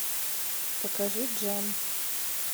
покажи джан